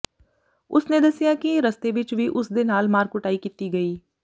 ਉਸਨੇ ਦੱਸਿਆ ਕਿ ਰਸਤੇ ਵਿੱਚ ਵੀ ਉਸਦੇ ਨਾਲ ਮਾਰ ਕੁਟਾਈ ਕੀਤੀ ਗਈ